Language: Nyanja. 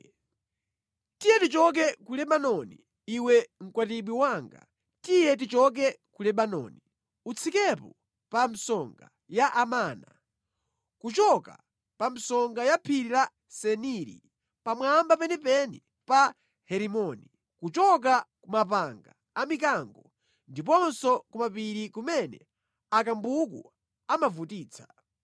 Tiye tichoke ku Lebanoni iwe mkwatibwi wanga, tiye tichoke ku Lebanoni, utsikepo pa msonga ya Amana, kuchoka pa msonga ya phiri la Seniri, pamwamba penipeni pa Herimoni, kuchoka ku mapanga a mikango ndiponso kumapiri kumene akambuku amavutitsa.